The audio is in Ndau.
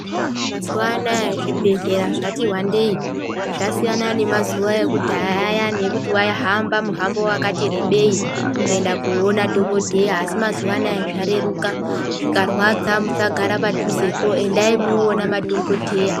Eya mazuva anoaya zvibhedhlera zvati wandeyi zvasiya nemazuva aya ekudhaya zvasiyana nemazuva aya ekudhaya ekuti muntu waihamba muhambo wakati rebei kuenda kunoona madhokodheya asi mazuvaano zvareruka zvikarwadza musagara padhuze po endai munoona madhokodheya.